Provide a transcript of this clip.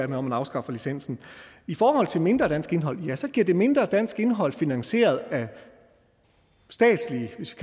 man afskaffer licensen i forhold til mindre dansk indhold ja så giver det mindre dansk indhold finansieret af statslige hvis